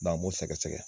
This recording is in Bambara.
an b'o sɛgɛsɛgɛ